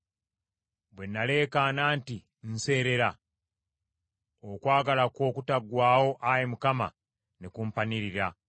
Bwe naleekaana nti, “Nseerera!” Okwagala kwo okutaggwaawo, Ayi Mukama , ne kumpanirira.